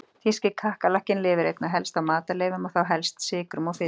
Þýski kakkalakkinn lifir einna helst á matarleifum og þá helst sykrum og fitu.